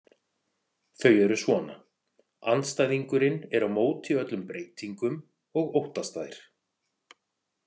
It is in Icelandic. Þau eru svona: Andstæðingurinn er á móti öllum breytingum og óttast þær.